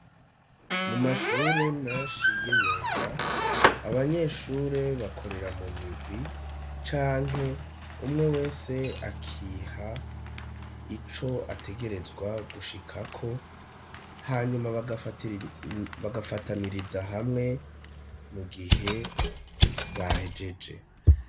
Mu mashure meshi y'imyuga abanyeshure bakorera mu mirwi canke umwe wese akiha ico ategerezwa gushik ko hanyuma bagafataniriza hamwe mu gihe bahejeje.